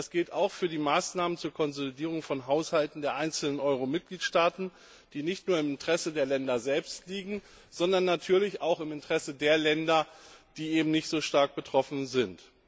Das gilt auch für die Maßnahmen zur Konsolidierung von Haushalten der einzelnen Euro Mitgliedstaaten, die nicht nur im Interesse der Länder selbst liegen, sondern natürlich auch im Interesse der Länder, die eben nicht so stark betroffen sind.